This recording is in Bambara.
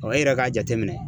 e yɛrɛ k'a jateminɛ.